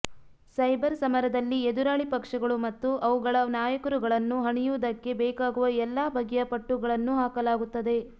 cyber ಸಮರದಲ್ಲಿ ಎದುರಾಳಿ ಪಕ್ಷಗಳು ಮತ್ತು ಅವುಗಳ ನಾಯಕರುಗಳನ್ನು ಹಣಿಯುವುದಕ್ಕೆ ಬೇಕಾಗುವ ಎಲ್ಲ ಬಗೆಯ ಪಟ್ಟುಗಳನ್ನೂ ಹಾಕಲಾಗುತ್ತದೆ